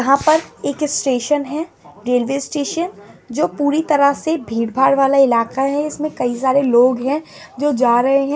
यहाँ पर एक स्टेशन है रेलवे स्टेशन जो पूरी तरह से भीड़-भाड़ वाला इलाका है इसमें कई सारे लोग हैं जो जा रहे हैं।